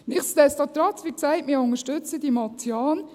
Nichtsdestotrotz: Wie gesagt, wir unterstützen die Motion.